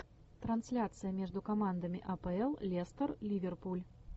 трансляция между командами апл лестер ливерпуль